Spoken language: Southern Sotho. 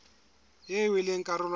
eo e leng karolo ya